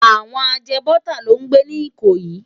Àwòn àjèbòtá ló n gbé ni Ikoyi